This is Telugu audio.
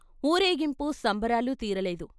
ఊరేగింపు సంబరాలు తీరలేదు.